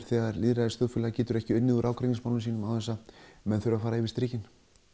þegar lýðræðisþjóðfélag getur ekki unnið úr ágreiningsmálum sínum án þess að menn þurfi að fara yfir strikið